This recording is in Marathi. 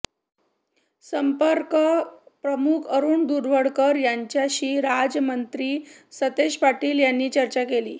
संपर्क प्रमुख अरुण दुधवडकर यांच्याशी राज्यमंत्री सतेज पाटील यांनी चर्चा केली